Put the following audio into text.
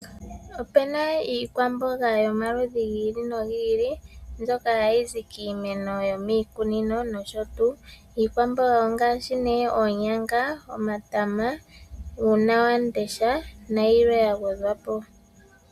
Opena iikwamboga yomaludhi gi ili nogi ili ndyoka hayizi kiimeno yomiikunino nosho tuu. Iikwamboga ongaashi nee oonyanga, omatama, uunawandesha nayilwe yagwedhwapo.